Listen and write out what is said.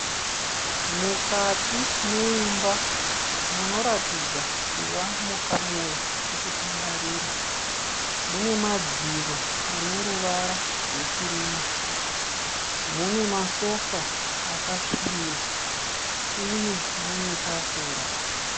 Mukati meimba munoratidza kuva mukamuri rokutandarira. Mune madziro ane ruvara rwekirimu. Mune masofa akasvibira uye mune tafura.